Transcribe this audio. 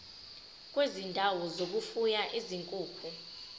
kwezindawo zokufuya izinkukhu